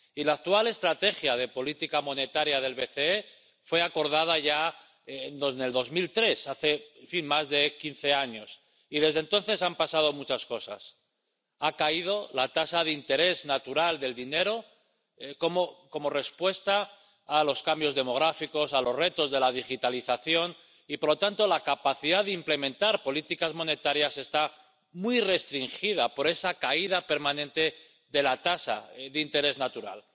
La actual estrategia de política monetaria del BCE fue acordada ya en 2003, hace más de quince años, y desde entonces han pasado muchas cosas ha caído la tasa de interés natural del dinero como respuesta a los cambios demográficos y a los retos de la digitalización y, por lo tanto, la capacidad de implementar políticas monetarias está muy restringida por esa caída permanente de la tasa de interés natural.